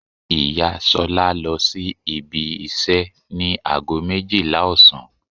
Ìyá Ṣolá lọ sí ibi iṣẹ́ ní ago méjìlá ọ̀sán.